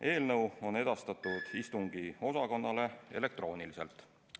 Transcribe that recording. Eelnõu on edastatud istungiosakonnale elektrooniliselt.